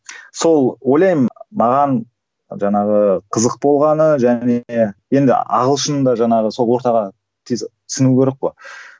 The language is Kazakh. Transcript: сол ойлаймын маған жаңағы қызық болғаны және енді ағылшында жаңағы сол ортаға тез сіңу керек қой